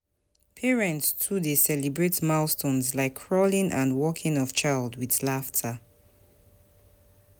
Parents too dey celebrate milestones like crawling and walking of child with laughter.